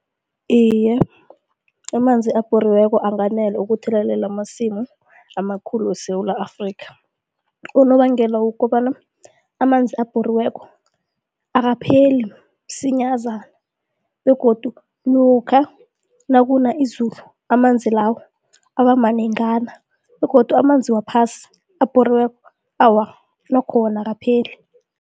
Iye, amanzi abhoriweko anganela ukuthelelela amasimu amakhulu weSewula Afrika. Unobangela wokobana amanzi abhoriweko akapheli msinyazana begodu lokha nakuna izulu amanzi lawo abamanengana begodu amanzi wephasi abhoriweko awa nokho wona akapheli.